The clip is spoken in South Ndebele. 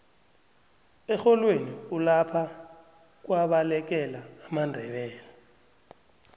erholweni kulapha kwabalekela amandebele